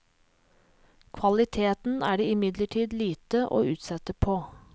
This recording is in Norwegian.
Kvaliteten er det imidlertid lite å utsette på.